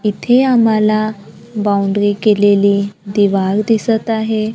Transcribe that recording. इथे आम्हाला बाउंड्री केलेली दिवाल दिसतं आहे.